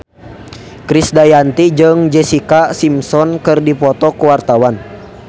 Krisdayanti jeung Jessica Simpson keur dipoto ku wartawan